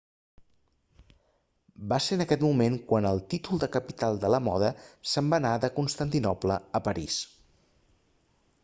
va ser en aquest moment quan el títol de capital de la moda se'n va anar de constantinoble a parís